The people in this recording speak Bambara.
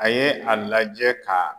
A ye a lajɛ ka